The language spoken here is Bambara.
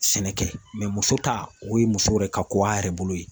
Sɛnɛkɛ muso ta, o ye muso yɛrɛ ka ko a yɛrɛ bolo yen.